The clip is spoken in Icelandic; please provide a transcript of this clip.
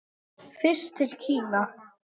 Fyrst til Kína.